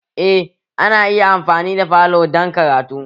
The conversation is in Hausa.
Eh ana iya amfani da falo dan karatu